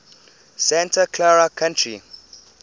santa clara county